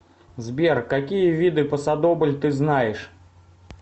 сбер какие виды пасодобль ты знаешь